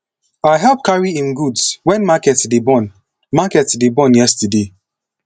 i help carry im goods wen market dey burn market dey burn yesterday